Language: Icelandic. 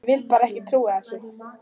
Ég vil bara ekki trúa þessu.